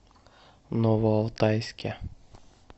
новоалтайске